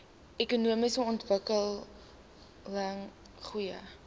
ekonomiese ontwikkeling goeie